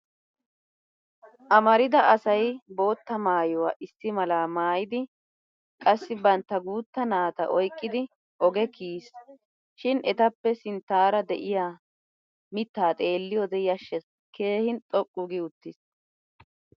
Amarida asay bootta maayuwa issi malaa maayidi qassi bantta guutta naata oyqqidi oge kiyis. Shin etappe sinttaara de'iyaa mittaa xeelliyoode yashshes keehin xoqqu gi uttis.